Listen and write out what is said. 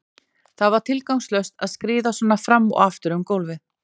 Það var tilgangslaust að skríða svona fram og aftur um gólfið.